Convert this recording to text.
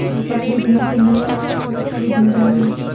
यहां पे खरीदने के लिए बहुत सारी भीड़ है यहां पे।